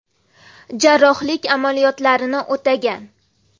Jarrohlik amaliyotlarini o‘tagan.